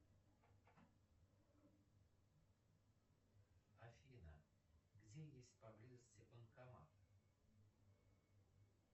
афина где есть поблизости банкомат